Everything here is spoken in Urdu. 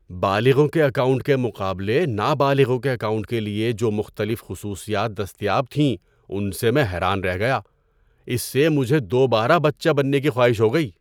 ‏بالغوں کے اکاؤنٹ کے مقابلے نابالغوں کے اکاؤنٹ کے لیے جو مختلف خصوصیات دستیاب تھیں ان سے میں حیران رہ گیا۔ اس سے مجھے دوبارہ بچہ بننے کی خواہش ہو گئی۔